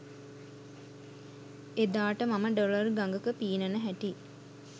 එදාට මම ඩොලර් ගඟක පීනන හැටි